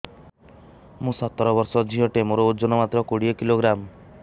ମୁଁ ସତର ବର୍ଷ ଝିଅ ଟେ ମୋର ଓଜନ ମାତ୍ର କୋଡ଼ିଏ କିଲୋଗ୍ରାମ